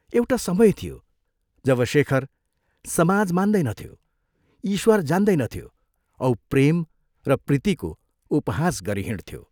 एउटा समय थियो जब शेखर समाज मान्दैनथ्यो, ईश्वर जान्दैनथ्यो औ प्रेम र प्रीतिको उपहास गरी हिंड्थ्यो।